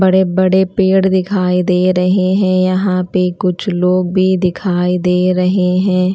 बड़े बड़े पेड़ दिखाई दे रहे है यहां पे कुछ लोग भी दिखाई दे रहे है।